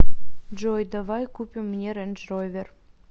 джой давай купим мне рэндж ровер